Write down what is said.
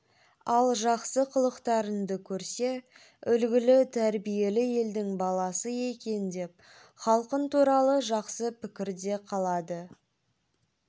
ал жақсы қылықтарыңды көрсе үлгілі тәрбиелі елдің баласы екен деп халқын туралы жақсы пікірде қалады